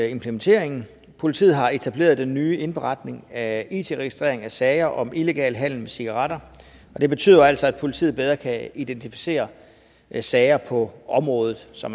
implementeringen politiet har etableret den nye indberetning af it registrering af sager om illegal handel med cigaretter det betyder jo altså at politiet bedre kan identificere sager på området så